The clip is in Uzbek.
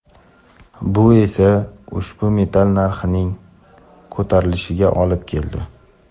Bu esa ushbu metall narxining ko‘tarilishiga olib keldi.